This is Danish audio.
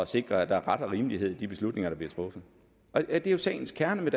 sikre at der er ret og rimelighed i de beslutninger der bliver truffet det er jo sagens kerne i